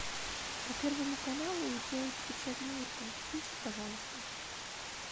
по первому каналу идет вечерний ургант включи пожалуйста